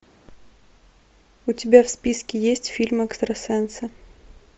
у тебя в списке есть фильм экстрасенсы